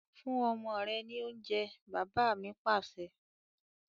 Fún ọmọ rẹ ni oúnjẹ! Bàbá mi Pàṣẹ.